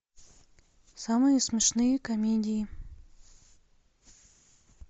самые смешные комедии